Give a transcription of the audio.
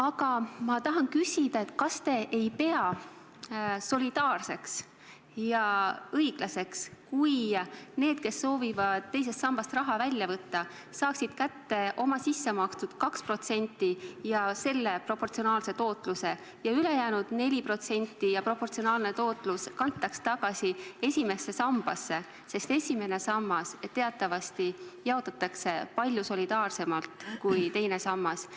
Aga ma tahan küsida selle kohta, et kas te ei pea solidaarseks ja õiglaseks seda, kui need, kes soovivad teisest sambast raha välja võtta, saaksid kätte oma sissemakstud 2% ja proportsionaalse tootluse ning ülejäänud 4% ja proportsionaalne tootlus kantaks tagasi esimesse sambasse, sest esimene sammas jaotatakse teatavasti palju solidaarsemalt kui teine sammas.